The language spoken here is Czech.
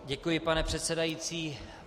Děkuji, pane předsedající.